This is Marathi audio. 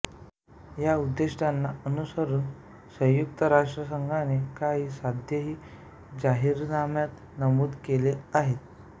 या उद्दिष्टांना अनुसरून संयुक्त राष्ट्रसंघाने काही साध्येही जाहीरनाम्यात नमूद केली आहेत